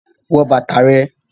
Put on your shoes